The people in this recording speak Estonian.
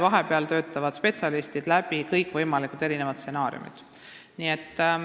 Vahepeal töötavad spetsialistid läbi kõikvõimalikud stsenaariumid.